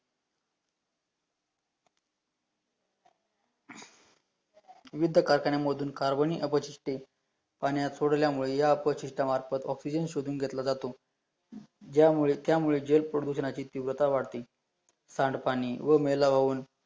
विविध कारखान्या मधून कार्बन नी अपशिष्टे पाण्यात सोडल्यामुळे या अपशीष्टा मार्फात ऑक्सीजन शोधून घेतला जातो, यामुळे त्यामुळे जे प्रदूषणाची तीव्रता वाढते, सांडपाणी व मैला वाहून